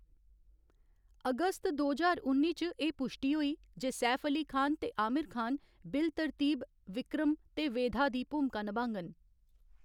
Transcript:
अगस्त दो ज्हार उन्नी च, एह्‌‌ पुश्टी होई जे सैफ अली खान ते आमिर खान बिल तरतीब विक्रम ते वेधा दी भूमका नभाङन।